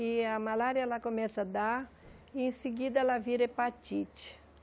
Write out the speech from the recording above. E a malária, ela começa a dar, e em seguida ela vira hepatite.